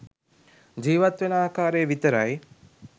ජීවත් වෙන ආකාරය විතරයි